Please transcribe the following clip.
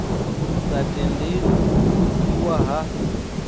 sa tendeli u pfukiwa ha